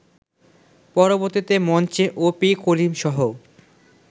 পরবর্তীতে মঞ্চে অপি করিমসহ